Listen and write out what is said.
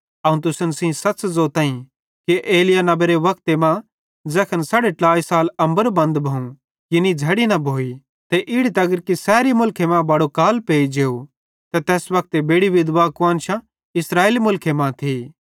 अवं तुसन सेइं सच़ ज़ोताईं कि एलिय्याह नेबेरे वक्ते मां ज़ैखन साड़े ट्लाई साल अम्बर बंद भोवं यानी झ़ड़ी न भोइ ते इड़ी तगर कि सैरी मुलखे मां बड़ो काल पेई जेव ते तैस वक्ते बेड़ि विधवा कुआन्शां इस्राएले मुलखे मां थी